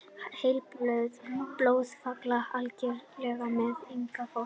Heilablóðfall algengara meðal yngra fólks